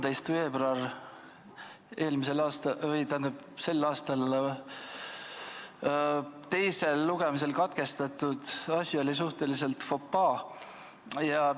Jah, see 13. veebruaril teisel lugemisel katkestatud asi oli suhteliselt fopaa.